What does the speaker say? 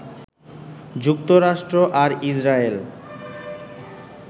যুক্তরাষ্ট্র আর ইজরায়েল